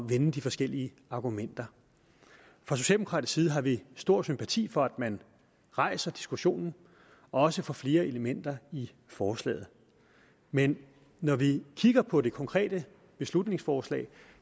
vende de forskellige argumenter fra socialdemokratisk side har vi stor sympati for at man rejser diskussionen og også får flere elementer i forslaget men når vi kigger på det konkrete beslutningsforslag